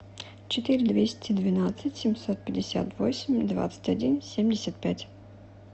четыре двести двенадцать семьсот пятьдесят восемь двадцать один семьдесят пять